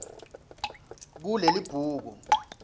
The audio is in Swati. kulelibhuku